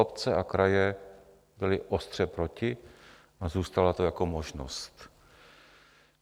Obce a kraje byly ostře proti a zůstalo to jako možnost.